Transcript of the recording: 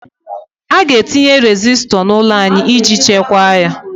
A ga-etinye resistor n'ụlọ anyị iji chekwaa ya.